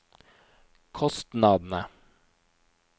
kostnadene